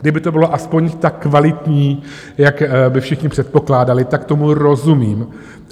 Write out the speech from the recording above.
Kdyby to bylo aspoň tak kvalitní, jak by všichni předpokládali, tak tomu rozumím.